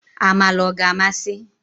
Amala ọ ga-amasị?